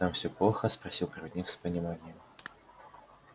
там всё плохо спросил проводник с пониманием